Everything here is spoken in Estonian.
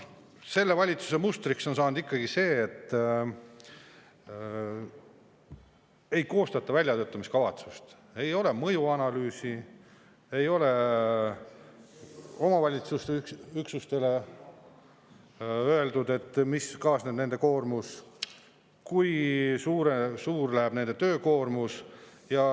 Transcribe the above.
Selle valitsuse mustriks on saanud ikkagi see, et ei koostata väljatöötamiskavatsust, ei ole mõjuanalüüsi, ei ole omavalitsusüksustele öeldud, mis kaasneb, kui suureks läheb nende töökoormus.